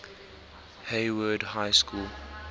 hayward high school